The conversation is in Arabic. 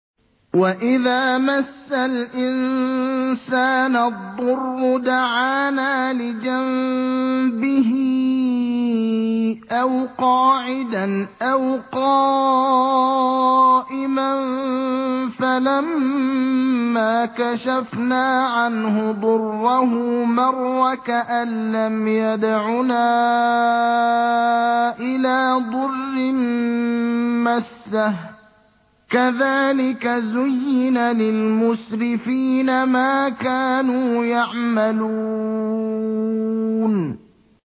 وَإِذَا مَسَّ الْإِنسَانَ الضُّرُّ دَعَانَا لِجَنبِهِ أَوْ قَاعِدًا أَوْ قَائِمًا فَلَمَّا كَشَفْنَا عَنْهُ ضُرَّهُ مَرَّ كَأَن لَّمْ يَدْعُنَا إِلَىٰ ضُرٍّ مَّسَّهُ ۚ كَذَٰلِكَ زُيِّنَ لِلْمُسْرِفِينَ مَا كَانُوا يَعْمَلُونَ